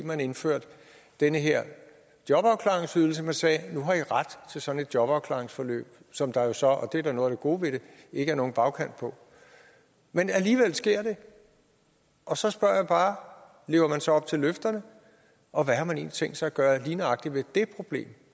man indførte den her jobafklaringsydelse man sagde nu har i ret til sådan et jobafklaringsforløb som der jo så og det er da noget af det gode ved det ikke er nogen bagkant på men alligevel sker det og så spørger jeg bare lever man så op til løfterne og hvad har man tænkt sig at gøre lige nøjagtig ved det problem